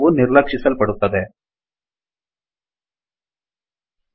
end document end ಡೊಕ್ಯುಮೆಂಟ್ಇದರ ಕೆಳಗೆ ಬರೆದಿದ್ದೆಲ್ಲವೂ ನಿರ್ಲಕ್ಷಿಸಲ್ಪಡುತ್ತದೆ